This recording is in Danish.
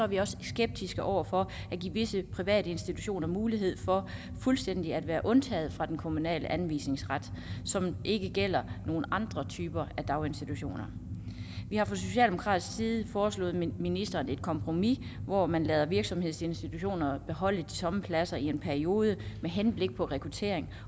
vi også skeptiske over for at give visse private institutioner mulighed for fuldstændig at være undtaget fra den kommunale anvisningsret som ikke gælder andre typer af daginstitutioner vi har fra socialdemokratiets side foreslået ministeren et kompromis hvor man lader virksomhedsinstitutioner beholde de tomme pladser i en periode med henblik på rekruttering